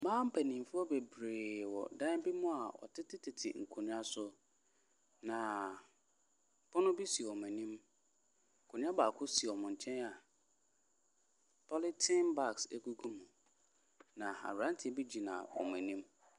Mmaa mpanimfoɔ bebiree wɔ dan bi mu a wɔtetetete nkonnwa so. Na pono bi si wɔn anim. Akonnwa baako si wɔn nkyɛn a polythene bags gugu mu. Na abranteɛ bi gyina wɔn anim.